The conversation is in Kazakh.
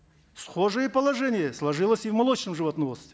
схожее положение сложилось и в молочном животноводстве